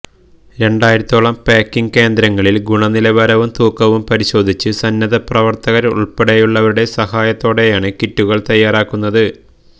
രണ്ടായിരത്തോളം പാക്കിങ് കേന്ദ്രങ്ങളില് ഗുണനിലവാരവും തൂക്കവും പരിശോധിച്ച് സന്നദ്ധപ്രവര്ത്തകരുള്പ്പെടെയുള്ളവരുടെ സഹായത്തോടെയാണ് കിറ്റുകള് തയാറാക്കുന്നത്